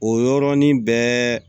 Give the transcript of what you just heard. O y yɔrɔnin bɛɛ